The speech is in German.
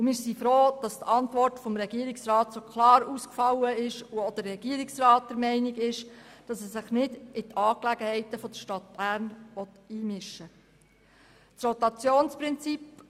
Wir sind froh, dass die Antwort des Regierungsrats so klar ausgefallen ist und auch der Regierungsrat der Meinung, sich nicht in die Angelegenheiten der Stadt Bern einmischen zu wollen.